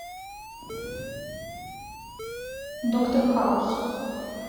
доктор хаус